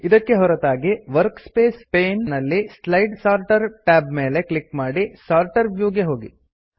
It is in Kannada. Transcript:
ಇದಕ್ಕೆ ಹೊರತಾಗಿ ವರ್ಕ್ಸ್ಪೇಸ್ ಪೇನ್ ನಲ್ಲಿ ಸ್ಲೈಡ್ ಸೋರ್ಟರ್ ಟ್ಯಾಬ್ ಮೇಲೆ ಕ್ಲಿಕ್ ಮಾಡಿ ಸೋರ್ಟರ್ ವ್ಯೂ ಗೆ ಹೋಗಿ